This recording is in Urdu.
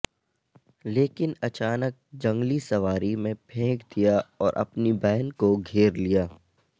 لیکن اچانک جنگلی سواری میں پھینک دیا اور اپنی بہن کو گھیر لیا